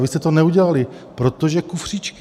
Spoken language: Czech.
A vy jste to neudělali, protože kufříčky.